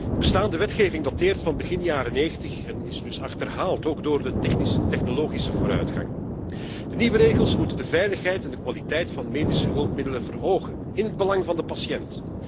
De bestaande wetgeving dateert van begin jaren negentig en is dus achterhaald, ook door de technologische vooruitgang. De nieuwe regels moeten de veiligheid en kwaliteit van medische hulpmiddelen verhogen, in het belang van de patiënt.